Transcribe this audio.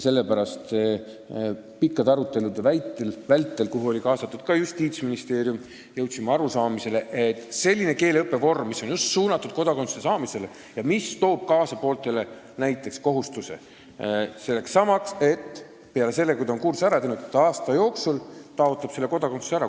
Pikkade arutelude vältel, kuhu oli kaasatud ka Justiitsministeerium, jõudsime arusaamisele, et on vaja sellist keeleõppevormi, mis on suunatud just kodakondsuse saamisele ja mis toob pooltele kaasa kohustused, sh sellesama nõude, et kui inimene on kursuse läbi teinud, siis ta aasta jooksul taotleb ka meie kodakondsust.